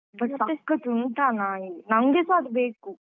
But ಸಖತ್ ಉಂಟಾ ನಾಯಿ ನಂಗೆಸ ಅದ್ ಬೇಕು.